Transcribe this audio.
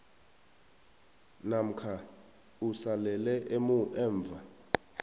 namkha usalele emva